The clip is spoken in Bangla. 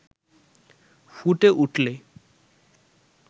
ফুটে উঠলে